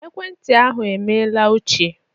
Ekwentị ahụ emela ochie.